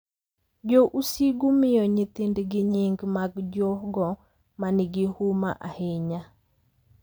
Jo Usigu miyo nyithindgi nying’ mag jogo ma nigi huma ahinya,